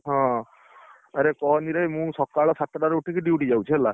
ହଁ, ଆରେ କହନି ରେ ମୁଁ ସଖାଳ ସାତଟା ରୁ ଉଠିକି duty ଯାଉଛି ହେଲା।